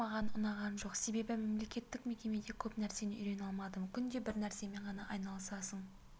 маған ұнаған жоқ себебі мемлекеттік мекемеде көп нәрсені үйрене алмадым күнде бір нәрсемен ғана айналысасың